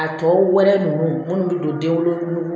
A tɔ wɛlɛ nunnu minnu bɛ don denwolo nugu